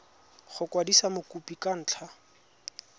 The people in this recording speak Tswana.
go kwadisa mokopi ka ntlha